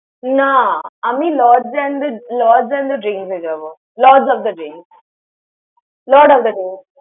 না, আমি Lord and the Lord and the Drinks এ যাবো। Lord of the Drinks । Lord of the Drinks ।